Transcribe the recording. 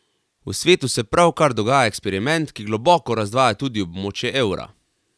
V svetu se pravkar dogaja eksperiment, ki globoko razdvaja tudi območje evra.